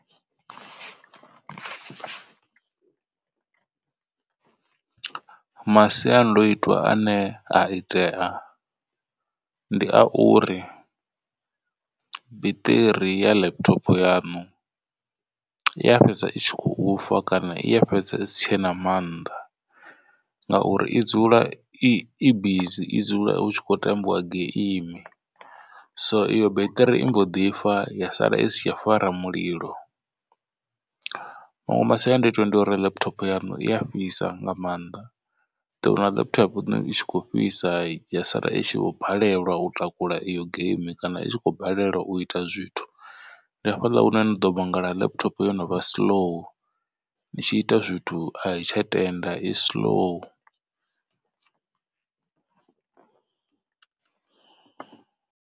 Masiandoitwa ane a itea ndi a uri biṱiri ya laptop yanu i ya fhedza i tshi khou fa kana i ya fhedza i si tshena mannḓa. Ngauri i dzula i bizi i dzula hu kho tambiwa geimi so iyo beṱiri i mbo ḓi fa ya sala i si tsha fara mulilo. Maṅwe masiandaitwa ndi uri laptop yaṋu i a fhisa nga mannḓa ḓowana laptop yaṋu itshi kho fhisa ya sala itshi vho balelwa u takula iyo geimi kana i khou balelwa u ita zwithu. Ndi hafhaḽa hune ni ḓo vhangela laptop yo novha slow ni tshi ita zwithu i tsha tenda i slow.